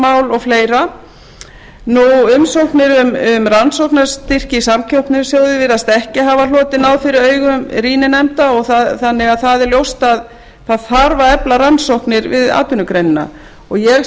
vöktunarmálum og fleiri umsóknir um rannsóknarstyrki í samkeppnissjóði virðast ekki hafa hlotið náð fyrir augum rýninefnda þannig að það er ljóst að það þarf að efla rannsóknir við atvinnugreinina ég